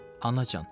Anacan.